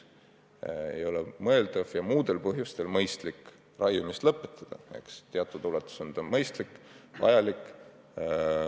Ei ole mõeldav ja muudel põhjustel ka mõistlik raiumist lõpetada – teatud ulatuses on see mõistlik ja vajalik.